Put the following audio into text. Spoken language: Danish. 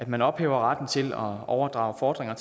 man ophæver retten til at overdrage fordringer